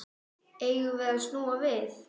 Eigum við snúa við?